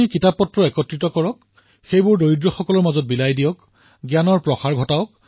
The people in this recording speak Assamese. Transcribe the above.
কিতাপসমূহ একত্ৰিত কৰি দুখীয়াক বিলাব পাৰি জ্ঞানৰ প্ৰচাৰ কৰিব পাৰি